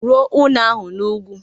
Rụọ ụnọ ahụ n'ugwu!